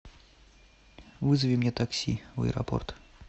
вызови мне такси в аэропорт